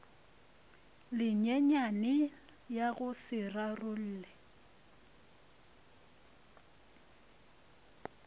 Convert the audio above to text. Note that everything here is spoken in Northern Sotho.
lenyenyane ya go se rarolle